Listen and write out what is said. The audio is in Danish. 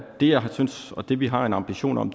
det jeg synes og det vi har en ambition om